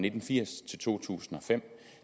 nitten firs til to tusind og fem